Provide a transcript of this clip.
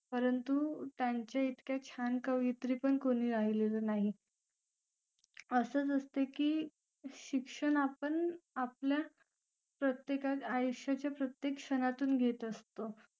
परंतु त्यांचे इतके छान कवयित्री पण राहिलेले नाही असंच असते की शिक्षण आपण आपल्या प्रत्येक आयुष्याच्या प्रत्येक आयुष्य तून घेत असतो